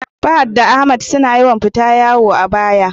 Fahad da Ahmad suna yawan fita wayo a baya